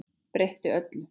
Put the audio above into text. Breytti öllu.